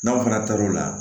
N'aw fana taar'o la